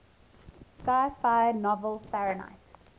sci fi novel fahrenheit